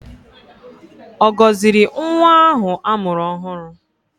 Ọ gọziri nwa ahụ a mụrụ ọhụrụ?